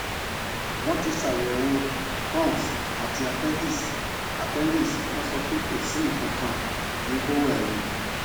wọn ti ṣayẹwò crohns àti appendix appendix wọn sọ pé kò sí nnkan kankan ní bowel mi